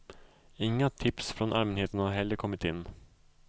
Inga tips från allmänheten har heller kommit in.